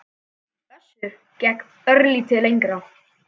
Össur gekk örlítið lengra.